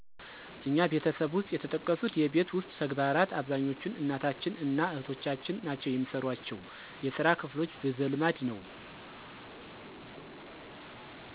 እኛ ቤተሰብ ውሰጥ የተጠቀሱት የቤት ውስጥ ተግባራት አብዛኛዎቹን እናታችን እና እህቶቻችን ናቸው የሚሰሯቸው። የስራ ክፍሎች በዘልማድ ነዉ።